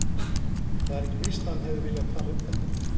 En það er ekki víst að hann hefði viljað tala um þetta.